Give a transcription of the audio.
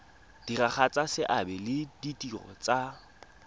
diragatsa seabe le ditiro tsa